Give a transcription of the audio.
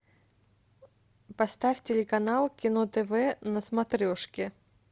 поставь телеканал кино тв на смотрешке